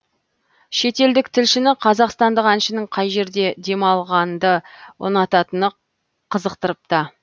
шетелдік тілшіні қазақстандық әншінің қай жерде демалғанды ұнататыны қызықтырыпты